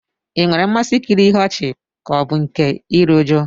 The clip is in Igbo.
Ị nwere mmasị nkiri ihe ọchị ka ọ bụ nke iri uju?